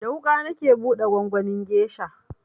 Da wuƙa nake buɗe gwangwanin gesha